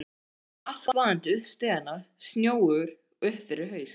Hann kom askvaðandi upp stigana, snjóugur upp fyrir haus.